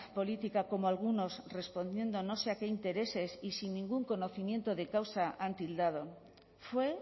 política como algunos respondiendo a no sé qué intereses y sin ningún conocimiento de causa han tildado fue